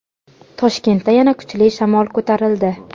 Toshkentda yana kuchli shamol ko‘tarildi.